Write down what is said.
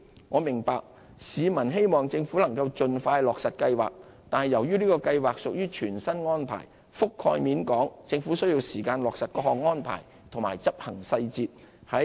我明白市民希望政府能盡快落實計劃，但由於這計劃屬全新安排，覆蓋面廣，政府需時落實各項安排和執行細節。